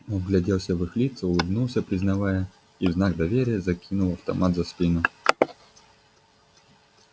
он вгляделся в их лица улыбнулся признавая и в знак доверия закинул автомат за спину